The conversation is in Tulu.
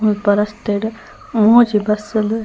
ಮುಲ್ಪ ರಸ್ತೆಡ್ ಮೂಜಿ ಬಸ್ಸ್ ಲು--